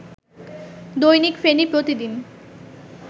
দৈনিক ফেনী প্রতিদিন